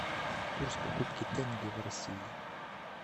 курс покупки тенге в россии